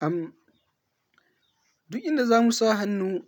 Am, duk inda za mu sa hannu,